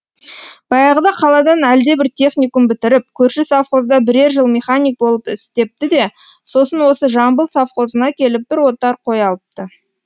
баяғыда қаладан әлдебір техникум бітіріп көрші совхозда бірер жыл механик болып істепті де сосын осы жамбыл совхозына келіп бір отар қой алыпты